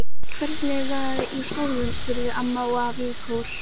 Hvernig var í skólanum? spurðu amma og afi í kór.